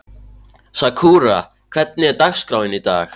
Sakura, hvernig er dagskráin í dag?